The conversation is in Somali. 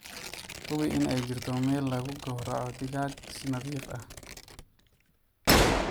Hubi in ay jirto meel lagu gowraco digaaga si nadiif ah.